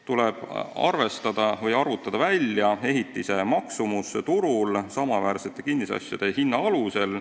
Tuleb välja arvutada ehitise maksumus turul samaväärsete kinnisasjade hinna alusel.